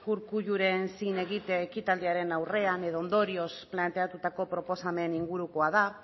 urkulluren zin egite ekitaldiaren aurrean edo ondorioz planteatutako proposamen ingurukoa da